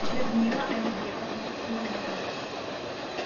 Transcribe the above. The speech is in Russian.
людмила алибековна ферима